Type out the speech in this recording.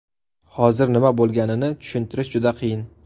Hozir nima bo‘lganini tushuntirish juda qiyin.